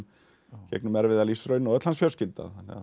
gegnum erfiða lífsraun og öll hans fjölskylda